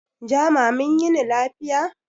Jama' mun yini lafiya